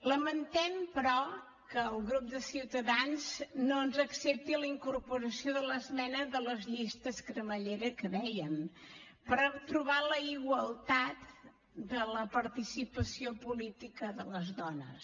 lamentem però que el grup de ciutadans no ens accepti la incorporació de l’esmena de les llistes cremallera que en dèiem per trobar la igualtat de la participació política de les dones